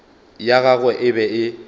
ya gagwe e be e